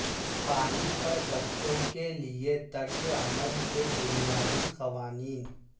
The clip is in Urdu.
پانی پر بچوں کے لئے طرز عمل کے بنیادی قوانین